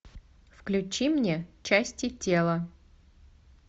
включи мне части тела